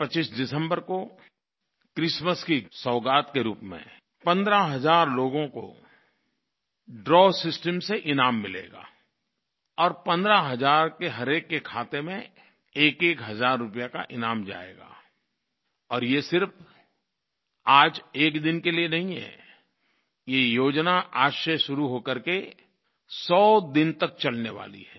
25 दिसम्बर को क्रिसमस की सौगात के रूप में पंद्रह हज़ार लोगों को द्रव सिस्टम से ईनाम मिलेगा और पंद्रह हज़ार के हरएक के खाते में एकएक हज़ार रूपये का ईनाम जाएगा और ये सिर्फ़ आज एक दिन के लिये नहीं है ये योजना आज से शुरू हो करके 100 दिन तक चलने वाली है